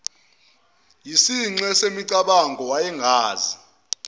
yisinxe semicabango wayengazi